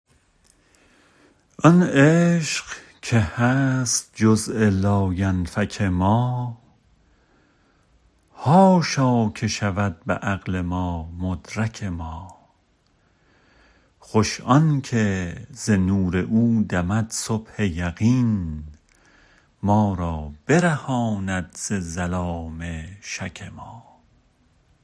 آن عشق که هست جزء لاینفک ما حاشا که شود به عقل ما مدرک ما خوش آنکه ز نور او دمد صبح یقین ما را برهاند ز ظلام شک ما